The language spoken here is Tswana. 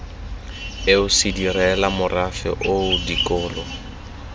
eo sedirela morafe oo dikolo